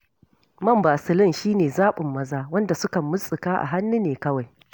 Man Basilin shi ne zaɓin maza, wanda sukan murtsuka a hannu ne kawai.